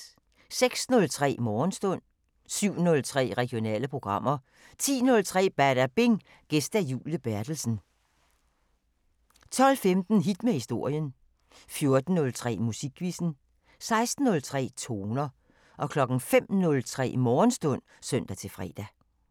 06:03: Morgenstund 07:03: Regionale programmer 10:03: Badabing: Gæst Julie Berthelsen 12:15: Hit med historien 14:03: Musikquizzen 16:03: Toner 05:03: Morgenstund (søn-fre)